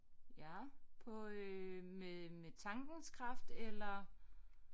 Ja på øh med med tankens kraft eller